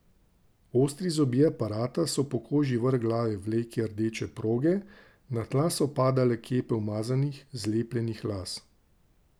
Ostri zobje aparata so po koži vrh glave vleki rdeče proge, na tla so padale kepe umazanih, zlepljenih las.